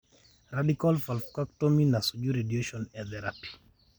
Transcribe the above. Rdical vulvectomy nesuju radiation therapy.